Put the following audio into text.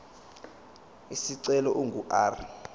isicelo ingu r